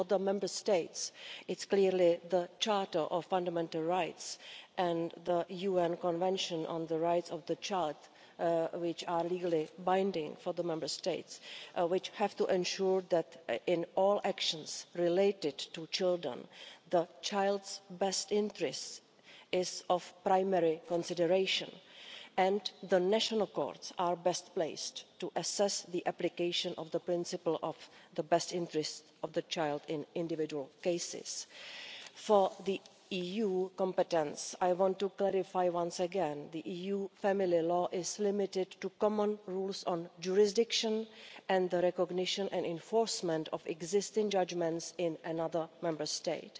For the Member States, this is clearly the Charter of Fundamental Rights and the UN Convention on the Rights of the Child, which are legally binding on them. They have to ensure that in all actions related to children, the child's best interests are the primary consideration, and the national courts are best placed to assess the application of the principle of the best interests of the child in individual cases. Regarding the EU's competence, I want to clarify once again the EU family law is limited to common rules on jurisdiction and the recognition and enforcement of existing judgments in another Member State.